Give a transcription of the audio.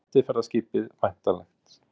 Fyrsta skemmtiferðaskipið væntanlegt